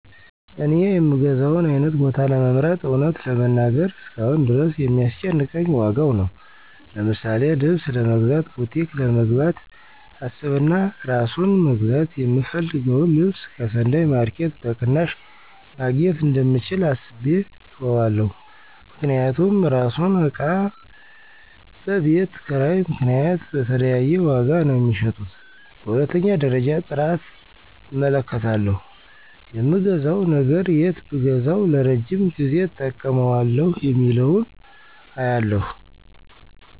እኔ የምገዛውን አይነት ቦታ ለመምረጥ እውነት ለመናገር እስካሁን ድረስ የሚያስጨንቀኝ ዋጋው ነው። ለምሳሌ ልብስ ለመግዛት ቡቲክ ለመግባት አስብና አራሱን መግዛት የምፈልገውን ልብስ ከሰንዳይ ማረኬት በቅናሽ መግኘት እንደምችል አስቤ እተወዋለሁ። ምክንያቱም እራሱን እቃ በቤት ኪራይ ምክንያት በተለያየ ዋጋ ነው ሚሸጡት። በሁለተኛ ደረጃ ጥራት እመለከታለሁ የምገዛው ነገር የት ብገዛዉ ለረጅም ጊዜ እጠቀመዋለሁ የሚለውን አያለሁ።